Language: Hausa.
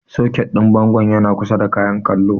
Soket ɗin bangon yan kusa da Kayan kallon.